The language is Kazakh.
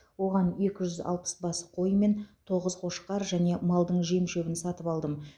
оған екі жүз алпыс бас қой мен тоғыз қошқар және малдың жем шөбін сатып алдым